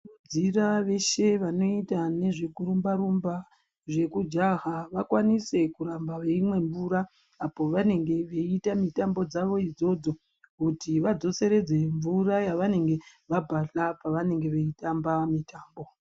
Tinokurudzira veshe vanoita nezvekurumba rumba nezvekujaha vakwanise kuramba veimwa mvura apo pavanenge veita mitambo dzavo dzona idzodzo kuti vadzoseredze mvura yavanenge vabhahla pavanenge veitamba mitambo.